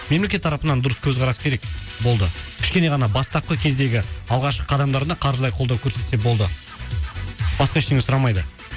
мемлекет тарапынан дұрыс көзқарас керек болды кішкене ғана бастапқы кездегі алғашқы қадамдарына қаржылай қолдау көрсетсе болды басқа ештеңе сұрамайды